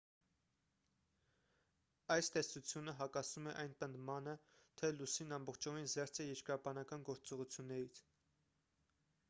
այս տեսությունը հակասում է այն պնդմանը թե լուսինն ամբողջովին զերծ է երկրաբանական գործողություններից